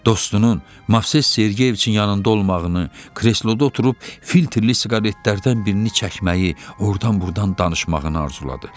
Dostunun Movses Sergeyiçin yanında olmağını, kresloda oturub filtrli siqaretlərdən birini çəkməyi, ordan-burdan danışmağını arzuladı.